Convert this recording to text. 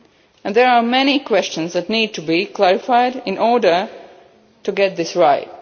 criteria, and there are many questions that need to be clarified in order to get this